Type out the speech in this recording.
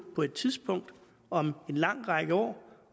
på et tidspunkt om en lang række år